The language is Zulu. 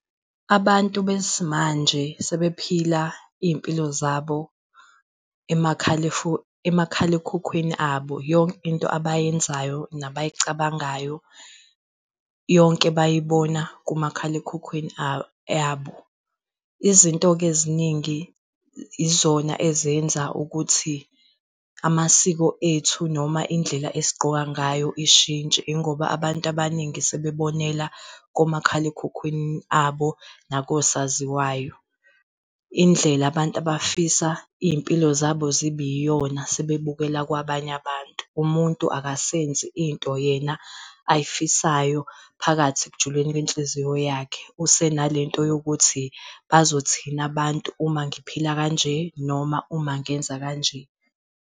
Abantu besimanje sebephila iy'mpilo zabo emakhalekhukhwini abo yonke into abayenzayo, nabayicabangayo yonke bayibona kumakhalekhukhwini yabo. Izinto-ke eziningi yizona ezenza ukuthi amasiko ethu noma indlela esigqoka ngayo ishintshe ingoba abantu abaningi sebebonela komakhalekhukhwini abo nakosaziwayo. Indlela abantu abafisa iy'mpilo zabo zibiyona sebebukela kwabanye abantu umuntu akasenzi into yena ayifisayo phakathi ekujuleni kwenhliziyo yakhe usenalento yokuthi bazothini abantu uma ngiphila kanje noma uma ngenza kanje.